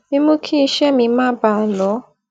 mímú kí iṣẹ mi máa bá a lọ